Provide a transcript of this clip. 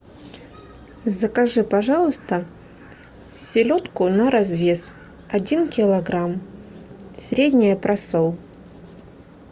закажи пожалуйста селедку на развес один килограмм средний просол